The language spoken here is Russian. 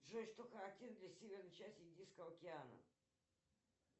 джой что характерно для северной части индийского океана